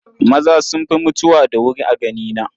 Maza sun fi mutuwa da wuri a ganina.